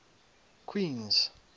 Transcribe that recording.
queens